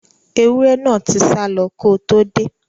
Ẹwúrẹ́ náà tí sálọ ko tó dé.